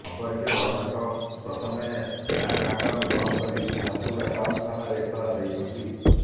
ସମ୍ପର୍କୀୟ ଜଣଙ୍କ ପ୍ରଥମେ ବ୍ୟାଙ୍କ ଆାଉଣ୍ଟ ବନ୍ଦ କରି ଝାରସୁଗୁଡା ଟାଉନ ଥାନାରେ ଏତଲା ଦେଇଛନ୍ତି